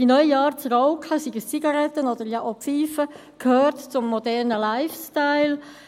Diese neue Art zu rauchen – seien es Zigaretten oder auch Pfeifen – gehört zum modernen Lifestyle.